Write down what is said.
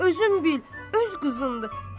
Özün bil, öz qızındır.